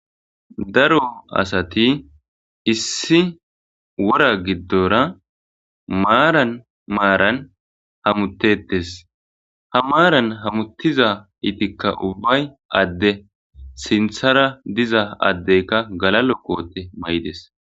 Daro asati issi wora giddoora maaran maaran hamutettees ha maaran hamutizaytikka ubbay adde sinththara diza addeykka galal'o koote mayides.